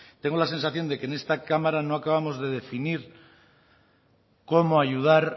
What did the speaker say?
tengo la sensación de que en esta cámara no acabamos de definir cómo ayudar